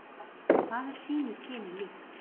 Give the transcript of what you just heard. Hvað er sínu kyni líkt.